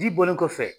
Ji bɔlen kɔfɛ